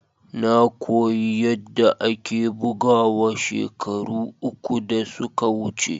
Na koyi yadda ake bugawa shekaru uku da suka wuce.